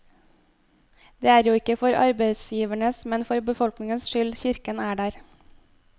Det er jo ikke for arbeidsgivers, men for befolkningens skyld kirken er der.